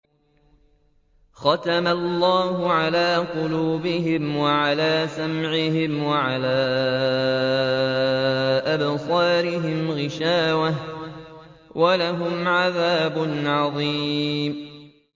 خَتَمَ اللَّهُ عَلَىٰ قُلُوبِهِمْ وَعَلَىٰ سَمْعِهِمْ ۖ وَعَلَىٰ أَبْصَارِهِمْ غِشَاوَةٌ ۖ وَلَهُمْ عَذَابٌ عَظِيمٌ